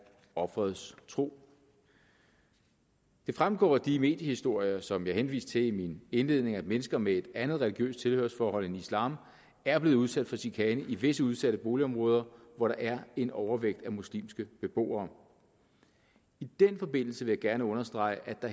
offerets tro det fremgår af de mediehistorier som jeg henviste til i min indledning at mennesker med et andet religiøst tilhørsforhold end islam er blevet udsat for chikane i visse udsatte boligområder hvor der er en overvægt af muslimske beboere i den forbindelse vil jeg gerne understrege